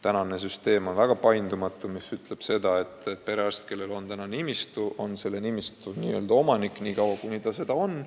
Praegune süsteem on väga paindumatu: perearst, kellel on nimistu olemas, on selle nimistu n-ö omanik nii kaua, kuni ta seda soovib.